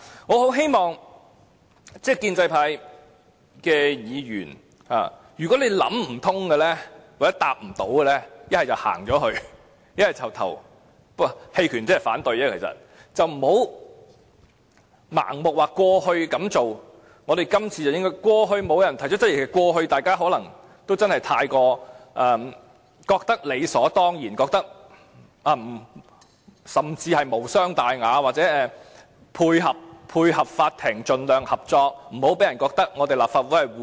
我很希望建制派議員，如果你未能想通或不懂回答的話，倒不如離開或投棄權票，而不要盲目說過去這樣做，我們這次都應該——過去沒有人提出質疑，過去大家可能覺得理所當然，覺得無傷大雅，為配合法庭而盡量合作，不要讓人覺得立法會護短。